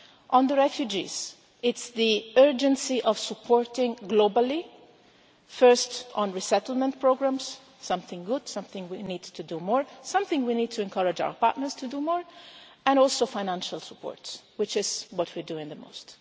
On the refugees, it is the urgency of supporting globally, first on resettlement programmes, something good, something we need to do more, something we need to encourage our partners to do more, and also financial support, which is what we are doing the most.